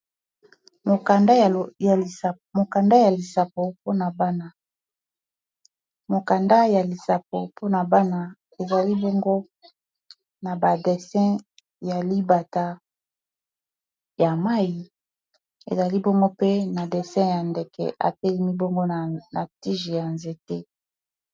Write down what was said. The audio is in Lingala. mokanda ya lisapo mpona bana eli nya libata ya mai ezali bomgo pe na desin ya ndeke akeli mibongo na tige ya nzete